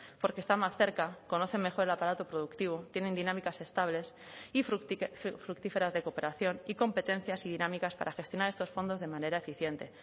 porque están más cerca conocen mejor el aparato productivo tienen dinámicas estables y fructíferas de cooperación y competencias y dinámicas para gestionar estos fondos de manera eficiente